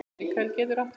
Mikael getur átt við